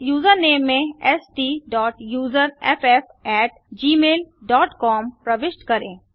username में STUSERFFgmailcom प्रविष्ट करें